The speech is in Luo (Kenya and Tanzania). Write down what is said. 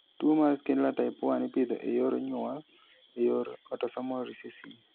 Tuwo mar Schindler type 1 ipidho e yor nyuol e yor autosomal recessive.